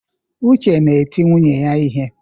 Uche na-eti nwunye ya ihe.